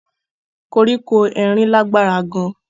Koriko erin lagbara gaan.